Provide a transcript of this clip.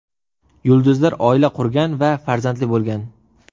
Yulduzlar oila qurgan va farzandli bo‘lgan.